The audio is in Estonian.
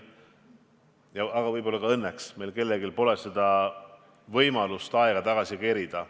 Kahjuks, aga võib-olla ka õnneks, pole meil kellelgi võimalust aega tagasi kerida.